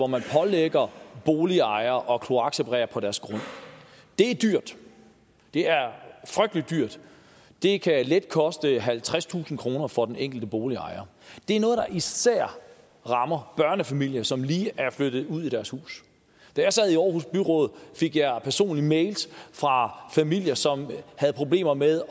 man pålægger boligejere at kloakseparere på deres grund det er dyrt det er frygtelig dyrt det kan let koste halvtredstusind kroner for den enkelte boligejer det er noget der især rammer børnefamilier som lige er flyttet ud i deres hus da jeg sad i aarhus byråd fik jeg personligt mails fra familier som havde problemer med